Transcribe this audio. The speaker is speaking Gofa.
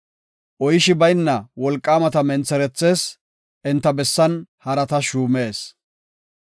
Oyshi bayna wolqaamata mentherethees; enta bessan harata shuumees.